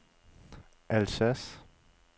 Alsace